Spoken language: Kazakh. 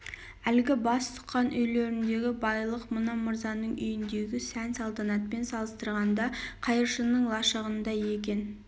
әлгі бас сұққан үйлеріндегі байлық мына мырзаның үйіндегі сән-салтанатпен салыстырғанда қайыршының лашығындай екен